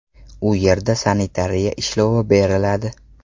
U yerda sanitariya ishlovi beriladi.